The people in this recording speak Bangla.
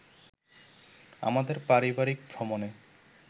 আমাদের পারিবারিক ভ্রমণে